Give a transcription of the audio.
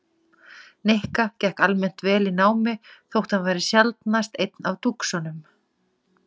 Nikka gekk almennt vel í námi þótt hann væri sjaldnast einn af dúxunum.